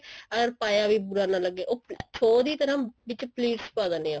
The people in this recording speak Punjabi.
ਅਰ ਪਾਇਆ ਵੀ ਬੁਰਾ ਨਾ ਲੱਗੇ ਉਹ ਦੀ ਤਰ੍ਹਾਂ ਵਿੱਚ plaits ਪਾ ਦਿੰਦੇ ਆ